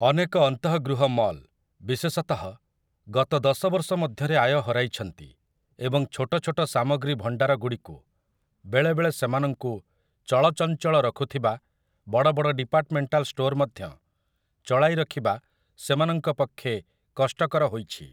ଅନେକ ଅନ୍ତଃଗୃହ ମଲ୍, ବିଶେଷତଃ, ଗତ ଦଶ ବର୍ଷ ମଧ୍ୟରେ ଆୟ ହରାଇଛନ୍ତି ଏବଂ ଛୋଟ ଛୋଟ ସାମଗ୍ରୀ ଭଣ୍ଡାରଗୁଡ଼ିକୁ, ବେଳେବେଳେ ସେମାନଙ୍କୁ ଚଳଚଞ୍ଚଳ ରଖୁଥିବା ବଡ଼ ବଡ଼ ଡିପାର୍ଟମେଣ୍ଟାଲ୍ ଷ୍ଟୋର୍‌ ମଧ୍ୟ, ଚଳାଇ ରଖିବା ସେମାନଙ୍କ ପକ୍ଷେ କଷ୍ଟକର ହୋଇଛି ।